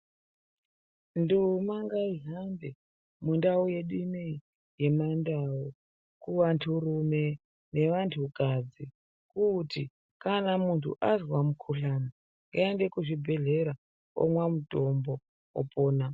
Nduma ngaihambe mundau yedu ino yemandau kuvanturume nevantukadzi kuti kana muntu azwa mukhuhlani, ngaaende kuzvibhedhlera omwa mutombo, opona.